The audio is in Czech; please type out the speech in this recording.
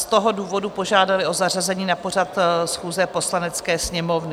Z toho důvodu požádali o zařazení na pořad schůze Poslanecké sněmovny.